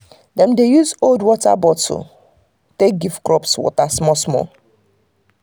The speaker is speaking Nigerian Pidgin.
dem dey use old water water bottle take give crops water small-small.